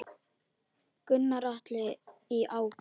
Gunnar Atli: Í ágúst?